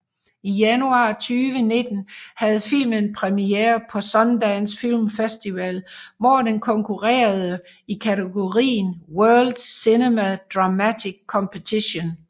I januar 2019 havde filmen premiere på Sundance Film Festival hvor den konkurrerede i kategorien World Cinema Dramatic Competition